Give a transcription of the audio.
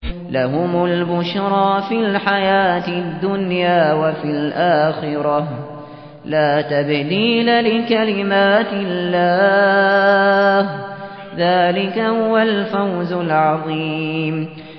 لَهُمُ الْبُشْرَىٰ فِي الْحَيَاةِ الدُّنْيَا وَفِي الْآخِرَةِ ۚ لَا تَبْدِيلَ لِكَلِمَاتِ اللَّهِ ۚ ذَٰلِكَ هُوَ الْفَوْزُ الْعَظِيمُ